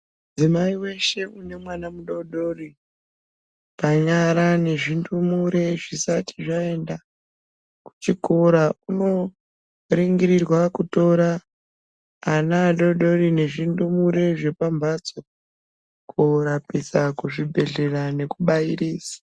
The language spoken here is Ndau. Mudzimai weshe une mwana mudodori kunyanyanyanya zvindumure zvisati zvaenda kuchikora uno ningirirwa kutora ana echidodori zvindumure zvepambatso korapisa kuzvibhedhlera nekubairiza.